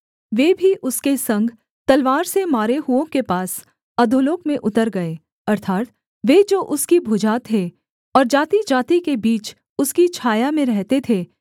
वे भी उसके संग तलवार से मारे हुओं के पास अधोलोक में उतर गए अर्थात् वे जो उसकी भुजा थे और जातिजाति के बीच उसकी छाया में रहते थे